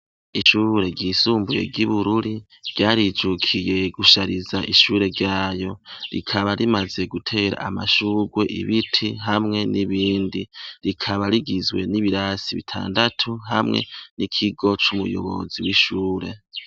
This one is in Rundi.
Ishure ryisumbuye ry'i Bururi, ryarijukiye , ryarijukiye gushatiza ishure yayo. Rikaba rimaze gutera amashurwe ,ibiti hamwe n' ibindi . Rikaba rigizwe n' ibirasi bitandatu hamwe n' ikigo c' umuyobozi w' ishure.